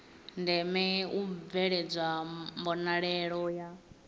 ndeme u bveledzwa mbonalelo ya